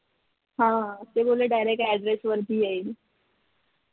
ते बोलले direct address वरती येईल